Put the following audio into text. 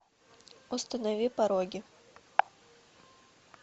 установи пороги